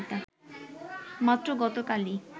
মাত্র গতকালই